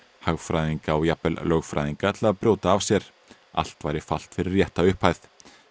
hagfræðinga og jafnvel lögfræðinga til að brjóta af sér allt væri falt fyrir rétta upphæð